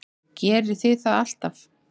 Gerið þið það alltaf?